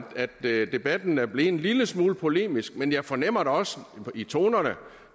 debatten er blevet en lille smule polemisk men jeg fornemmer da også i tonerne